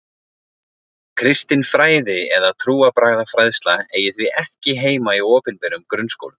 Kristin fræði eða trúarbragðafræðsla eigi því ekki heima í opinberum grunnskólum.